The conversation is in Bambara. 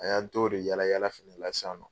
A y'an t'o de yalayala fana na sisannɔ.